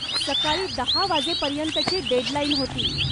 सकाळी दहा वाजेपर्यंतची डेडलाईन होती.